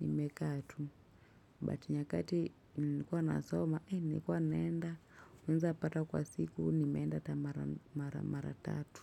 nimekaa tu but nyakati nilikua nasoma nilikua naenda naeza pata kwa siku nimeenda ata mara mara mara tatu.